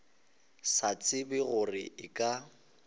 sa tsebe gore e ka